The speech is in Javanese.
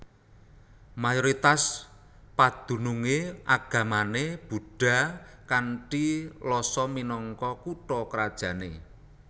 Mayoritas padunungé agamané Buddha kanthi Lhasa minangka kutha krajané